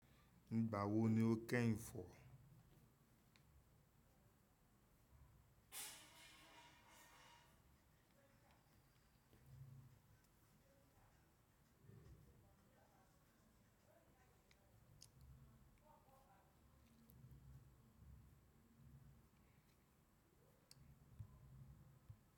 Nígbà wo ni o kẹ́ ìfọ̀?